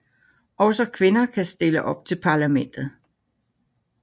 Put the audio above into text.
Også kvinder kan stille op til parlamentet